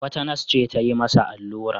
Wata nas ce ta yi masa allura.